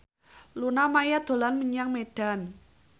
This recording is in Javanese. Luna Maya dolan menyang Medan